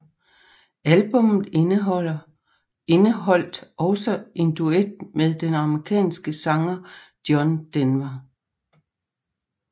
Albummet indeholdt også en duet med den amerikanske sanger John Denver